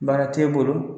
Baara tɛ e bolo